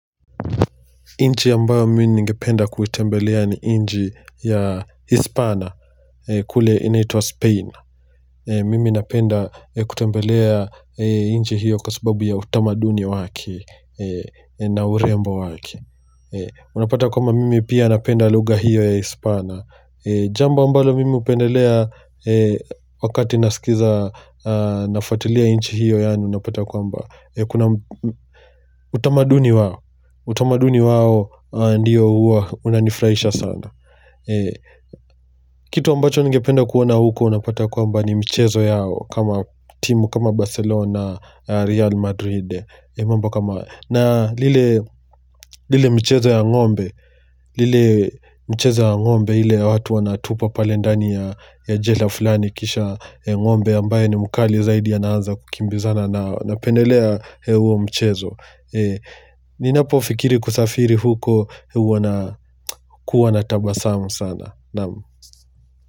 Nchi ambayo mimi nigependa kuitembelea ni nchi ya Uhispania kule inaitwa Spain Mimi napenda kutembelea nchi hiyo kwa sababu ya utamaduni wake na urembo wake Unapata kwamba mimi pia napenda lugha hiyo ya Kihispania Jambo ambalo mimi hupendelea wakati nasikiza nafuatilia nchi hiyo yaani unapata kwamba Kuna utamaduni wao utamaduni wao ndio huwa unanifurahisha sana Kitu ambacho nigependa kuona huko Unapata kwamba ni mchezo yao kama timu kama Barcelona, Real Madrid na lile lile mchezo ya ngombe lile mchezo ya ngombe ile watu wanatupwa pale ndani ya jela fulani kisha ngombe ambaye ni mkali zaidi anaanza kukimbizana nao napendelea huo mchezo Ninapofikiri kusafiri huko huwa nakuwa na tabasamu sana naam.